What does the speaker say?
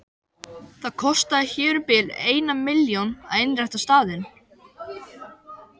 Það kostaði hér um bil eina milljón að innrétta staðinn.